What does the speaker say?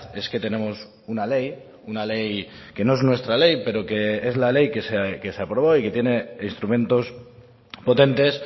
es que tenemos una ley una ley que no es nuestra ley pero que es la ley que se aprobó y que tiene instrumentos potentes